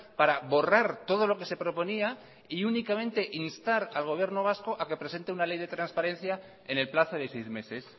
para borrar todo lo que se proponía y únicamente instar al gobierno vasco a que presente una ley de transparencia en el plazo de seis meses